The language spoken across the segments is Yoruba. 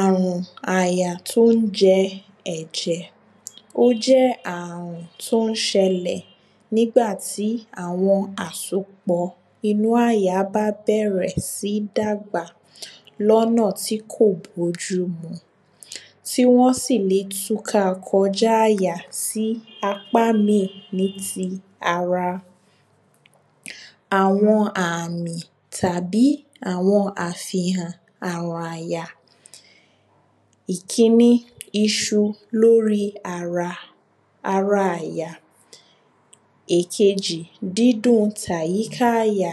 arun aja ti o je eje Ó jẹ ààrùn tí ó ń ṣẹlẹ̀ nígbà tí àwọn àsopọ̀ inú àyà bá bẹ̀rẹ̀ sí ń dàgbà ní ọ̀nà tí kò bójúmu Tí wọ́n sì lè túká kọjá àyà sí apá mìí ní ti ara Àwọn àmì tàbí àwọn àfihàn ààrùn àyà Ìkíní Isu lórí ara Ara àyà Èkejì Dídún ti àyíká àyà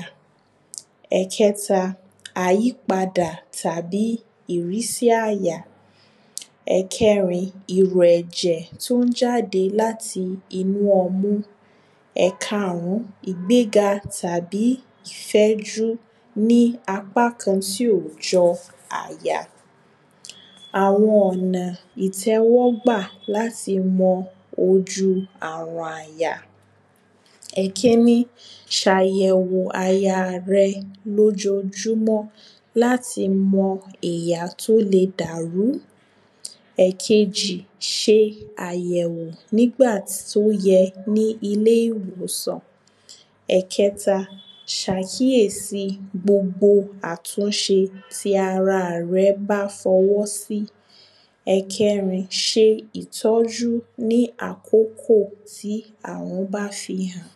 Ẹ̀ẹ̀kẹta Àyípadà tàbí ìrísí àyà Ẹ̀kẹrin Ìrù èjẹ̀ tí ó ń jáde láti inú ọmú Ekààrùn ìgbéga tàbí ìfẹ́jú ní apa tí ó jọ àyà Àwọn ọ̀nà ìtẹ́wọ́gbà láti mọ ojú ààrùn àyà Ìkíní Ṣe àyẹ̀wò àyà rẹ ní ojojúmọ́ láti mọ tí ó le dàrú Ẹ̀kejì Ṣe àyẹ̀wò nígbà tí ó yẹ ní ilé ìwòsàn Ẹkẹta Ṣe àkíyèsi gbogbo àtúnṣe tí ara rẹ bá fi ọwọ́ sí Ẹkẹrin Ṣe ìtọ́jú ní àkókò tí ààrùn bá fi hàn